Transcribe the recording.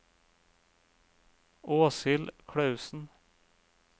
Åshild Klausen